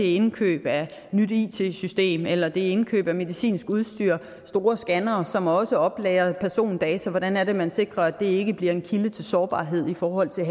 indkøb af nyt it system eller indkøb af medicinsk udstyr for store scannere som også oplagrer persondata hvordan er det man sikrer at det ikke bliver en kilde til sårbarhed i forhold til